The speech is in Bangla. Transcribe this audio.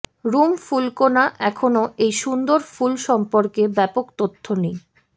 রুম ফুলকণা এখনও এই সুন্দর ফুল সম্পর্কে ব্যাপক তথ্য নেই